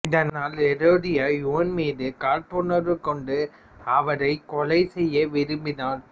இதனால் ஏரோதியா யோவான் மீது காழ்ப்புணர்வு கொண்டு அவரைக் கொலை செய்ய விரும்பினாள்